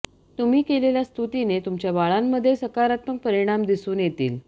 तुम्ही केलेल्या स्तुतीने तुमच्या बाळांमध्ये सकारात्मक परिणाम दिसून येतील